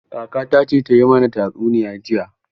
Kakata ce ta yi mana tatsuniya jiya.